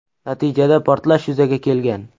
Natijada portlash yuzaga kelgan.